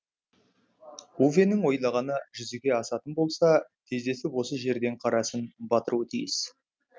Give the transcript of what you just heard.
увенің ойлағаны жүзеге асатын болса тездетіп осы жерден қарасын батыруы тиіс